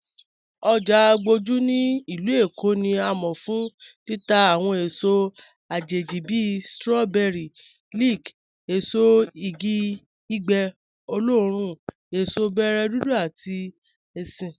Ojá Àgbójú ní ilù Èkó ni à mọ̀ fún títà awọn èsò àjẹjì bí strawberries, leek, èsò ìgì gbígbẹ̀ oloorùn, èsò bẹ̀rẹ̀ dúdú àti èṣin.